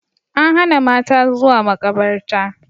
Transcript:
An hana mata zuwa makabarta